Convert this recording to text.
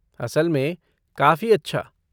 असल में, काफ़ी अच्छा।